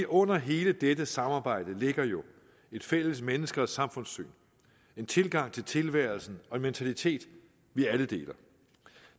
under hele dette samarbejde ligger jo et fælles menneske og samfundssyn en tilgang til tilværelsen og en mentalitet vi alle deler